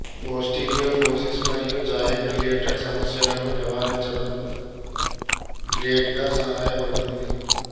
osteoporosis మరియు joint related సమస్యలను నివారించడంలో గ్రేట్ గా సహాయపడుతుంది